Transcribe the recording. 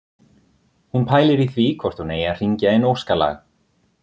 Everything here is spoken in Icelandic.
Hún pælir í því hvort hún eigi að hringja inn óskalag